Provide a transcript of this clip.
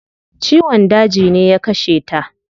Ciwon daji ne ya kashe ta